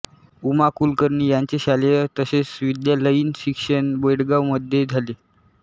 उमा कुलकर्णी यांचे शालेय तसेच महाविद्यालयीन शिक्षण बेळगावमध्ये झाले